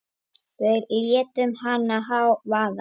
Við létum hana vaða.